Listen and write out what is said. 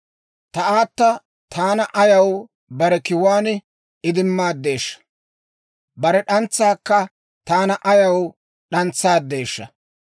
Ta aata taana ayaw bare kiwuwaan idimmaadeeshsha? Bare d'antsaakka taana ayaw d'antsaadeeshsha?